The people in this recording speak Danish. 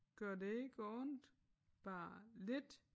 Gør det ikke ondt bare lidt?